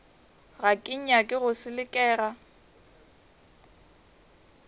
ga ke nyake go selekega